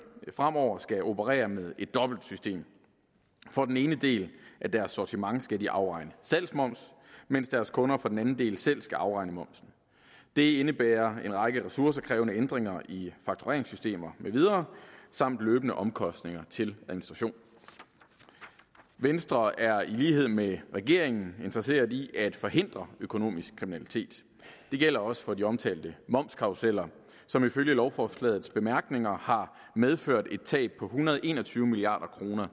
fremover skal operere med et dobbelt system for den ene del af deres sortiment skal de afregne salgsmoms mens deres kunder for den anden del selv skal afregne momsen det indebærer en række ressourcekrævende ændringer i faktureringssystemer med videre samt løbende omkostninger til administration venstre er i lighed med regeringen interesseret i at forhindre økonomisk kriminalitet det gælder også for de omtalte momskarruseller som ifølge lovforslagets bemærkninger har medført et tab på en hundrede og en og tyve milliard kroner